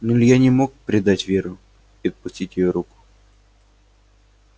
но илья не мог предать веру и отпустить еёе руку